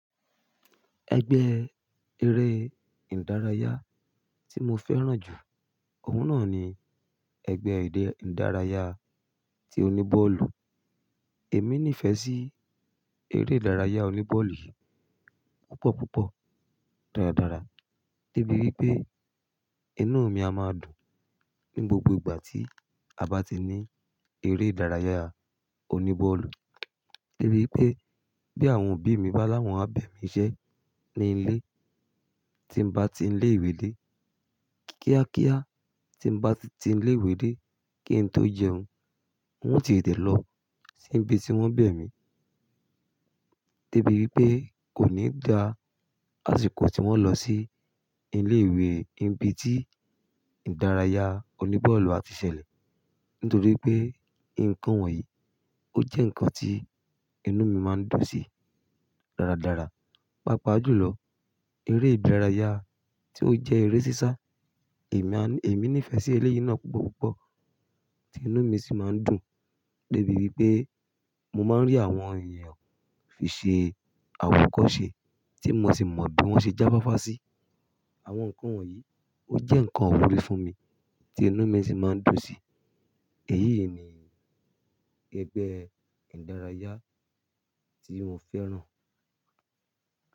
Ẹgbẹ́ eré ìdárayá tí mo fẹ́ràn jù, òun náà ni ẹgbẹ́ èdè ìdárayá tí oní bọ́ọ̀lù. Èmi nífẹ̀ẹ́ sí eré ìdárayá oní bọ́ọ̀lù yìí púpọ̀ púpọ̀ dáradára débi wípé inú mi a máa dùn ní gbogbo ìgbà tí a bá ti ní eré ìdárayá oní bọ́ọ̀lù. Debi wipé bí àwọn òbí mi bá láwọn abẹ̀ mí iṣẹ́ ní ilé tí n bá ti ń ilé-ìwé dé kíákíá tí n bá ti ń ilé-ìwé dé kí n tó jẹun, wọ́n ti tẹ̀ lọ sí ibi tí wọ́n bẹ̀ mí. Débi wípé kò ní dá ki asiko tí wọ́n lọ sí ilé ìwé ibi tí ìdárayá oní bọ́ọ̀lù á ti ṣẹlẹ̀. Nítorí pé nǹkan wọ̀nyí ó jẹ́ nǹkan tí inú mi má ń dùn sí dáradára. Pápa jù lọ, eré ìdárayá tí ó jẹ́ eré sísá, èmi á, èmi niífẹ̀ sí eléyìí náà púpọ̀ púpọ̀ tí inú mi sì má ń dùn. Débi wípé mo má ń rí àwọn èèyàn fi ṣe àwọkose tí mo sì mọ bí wọ́n ṣe ń já fááfá sí. Àwọn nǹkan wọ̀nyí ó jẹ́ nǹkan ìwúre fún mi tí inú mi sì má ń dùn sí. Èyí ni ẹgbẹ́ ìdárayá tí mo fẹ́ràn.